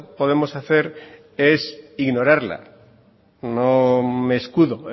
podemos hacer es ignorarla no me escudo